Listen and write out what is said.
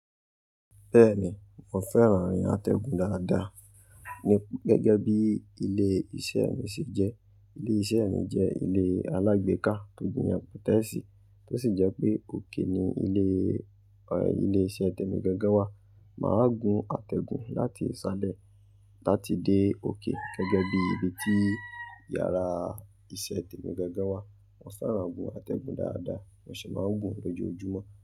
Bẹ́ẹ̀ni, mo fẹ́ran àtẹ̀gùn dáadáa gẹ́gẹ́ bí ilé iṣẹ́ mi ṣe jẹ́. Ilé iṣẹ́ mi jẹ́ ilé alágbèéká tó jiyàn pẹ́tẹ́ẹ̀sì tó sì jẹ́ pé òkè ni ilé, ilé iṣẹ́ tèmi gangan wà. Máa gun àtẹ̀gùn láti ìsàlẹ̀ láti dé òkè gẹ́gẹ́ bí ibi tí yàrá iṣẹ́ tèmi gangan wà. Mo fẹ́ran gun àtẹ̀gùn dáadáa, mo sì máa ń gùn lójoojúmọ́